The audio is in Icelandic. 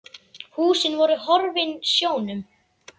Húsin voru horfin sjónum.